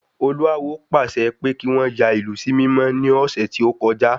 Olú awo pàṣẹ pé kí wọ́n yà ìlú sí mímọ́ ní ọ̀sẹ̀ tí ọ́kọjá